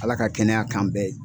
Ala ka kɛnɛya k'an bɛɛ ye.